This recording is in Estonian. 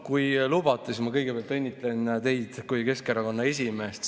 Kui lubate, siis ma kõigepealt õnnitlen teid kui Keskerakonna esimeest.